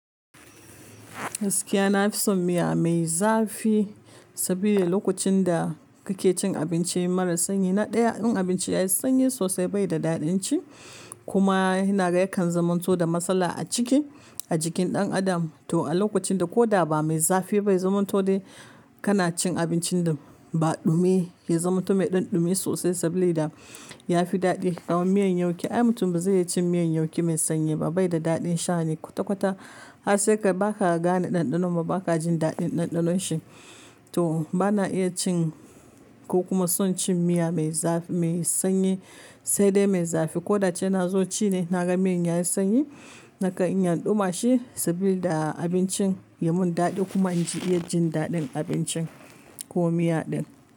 Gaskiya na fi son miya mai zafi saboda lokacin da kake cin abinci mara sanyi na ɗaya, in abinci yayi sanyi sosai bai da daɗin ci kuma yana yakan zaman to da matsala a ciki, a jikin ɗan adam to a lokacin da ko da ba mai zafi bai zaman to dai kana cin abincin da ba ɗumi, yayi zaman to mai ɗanɗume sosai saboda da yafi daɗi. Kawai miyan yauki, ai mutum ba zai iya cin miyan yauƙi mai sanyi ba bai da daɗin sha ne kwata-kwata har sai ka, ba ka gane ɗanɗanon ba ba ka jin daɗin ɗanɗanon shi to bana iya cin ko kuma son cin miya mai zafi mai sanyi sai dai mai zafi ko da can na zo ci ne naga miyan yayi sanyi nakan inabɗuma shi saboda abincin ya mun daɗi kuma naji iya jin daɗin abincin ko miya din.